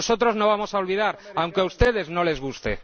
Nosotros no vamos a olvidar, aunque a ustedes no les guste.